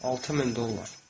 6000 dollar.